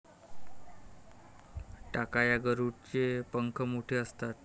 टाकाळा गरुड चे पंख मोठे असतात